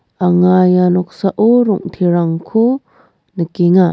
anga ia noksao rong·terangko nikenga.